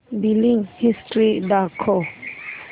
billing history दाखव